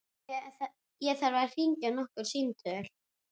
Ég þarf að hringja nokkur símtöl.